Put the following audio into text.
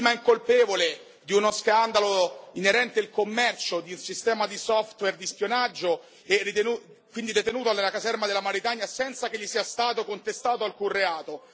incolpevole di uno scandalo inerente il commercio di un sistema di software di spionaggio e quindi detenuto nella caserma della Mauritania senza che gli sia stato contestato alcun reato.